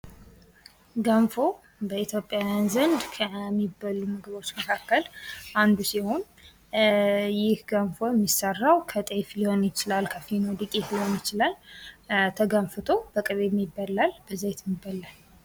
ገንፎ በኢትዮጵያዉያን ዘንድ ከሚበሉ ምግቦች መካከል አንዱ ሲሆን ይህ ገንፎ የሚሰራው ከጤፍ ሊሆን ይችላል ከፊኖ ዱቄት ሊሆን ይችላል:: ተገንፍቶ በቅቤም ይበላል በዘይትም ይበላል::